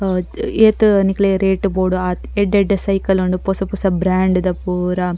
ಅಹ್ ಏತ್ ನಿಕಲ್ಗೆ ರೇಟ್ ಬೋಡು ಆತ್ ಎಡ್ಡೆ ಎಡ್ಡೆ ಸೈಕಲ್ ಉಂಡು ಪೊಸ ಪೊಸ ಬ್ರ್ಯಾಂಡ್ ದ ಪೂರ.